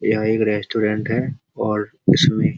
यह एक रेस्टुरेंट है और इसमें --